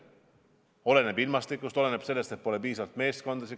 Kõik oleneb ilmastikust, oleneb sellest, kas on piisavalt meeskondasid.